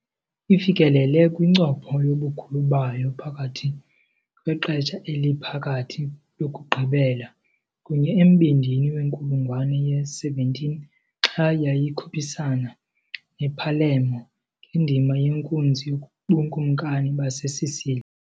Ifikelele kwincopho yobukhulu bayo phakathi kweXesha eliPhakathi lokugqibela kunye embindini wenkulungwane ye-17, xa yayikhuphisana nePalermo ngendima yenkunzi yobukumkani baseSicily .